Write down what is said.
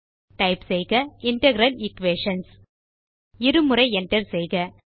type செய்க integral equations இரு முறை Enter செய்க